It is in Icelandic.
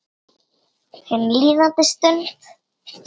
Hin líðandi stund.